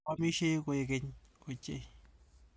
Oamishei koek keny ochei.